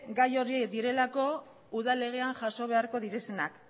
gai horiek direlako udal legean jaso beharko direnak